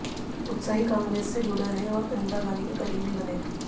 उत्साही कांग्रेस से जुड़े रहे और इंदिरा गाँधी के करीबी बने